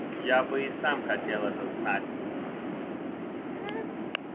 я бы и сам хотел это знать